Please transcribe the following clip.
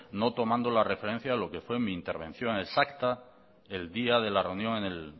no tomando la referencia de lo que fue mi intervención exacta el día de la reunión en el